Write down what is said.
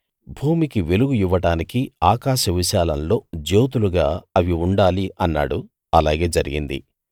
భూమికి వెలుగు ఇవ్వడానికి ఆకాశ విశాలంలో జ్యోతులుగా అవి ఉండాలి అన్నాడు అలాగే జరిగింది